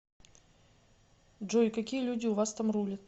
джой какие люди у вас там рулят